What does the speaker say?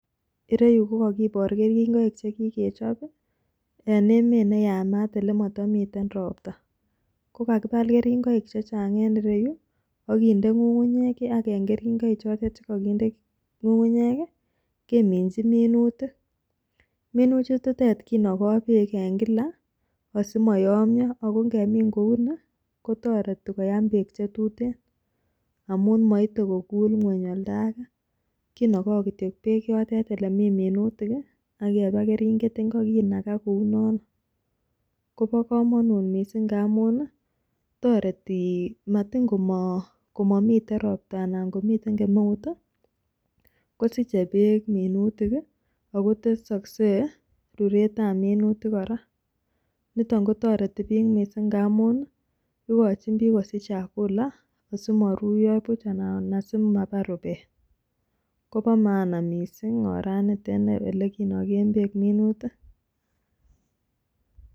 Ireyu kogibor keringoik che kigechob en emet ne yamat ele motomiten ropta. Kokakibal keringoik che chang en ireyu ak kinde ng'ung'unyek ak en keringoik chotet che koginde ng'ung'nyek ii keminchi minutik. Minutichuto kinogo beek kila asimo yomyo. Ago ingemin kou ni, kotoreti kora koyam beek che tuten amun moite kokul ng'weny oldo age. Kinogo kityo beek yotet ele mi minutik ak iologu keringet ingo kinaga kora kounoto. Kobo komonut mising ngamun toreti motin komomiten ropta anan komiten kemeut. kosiche beek minutik ago tesokse ruretab minutik kora. Niton kotoreti biik ngamun igochin biik kosich chakula asimoruyo buch anan asi mabar rubet. Kobo maana mising oranito ne kinogen beek minutik.